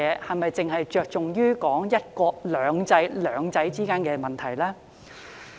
我們是否只側重於"一國兩制"中的"兩制"呢？